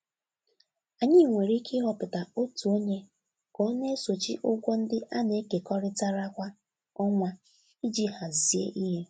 Anyị nwere ike ịhọpụta otu onye ka ọ na-esochi ụgwọ ndị a na-ekekọrịtara kwa ọnwa iji hazie ihe.